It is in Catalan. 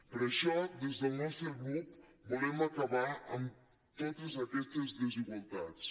per això des del nostre grup volem acabar amb totes aquestes desigualtats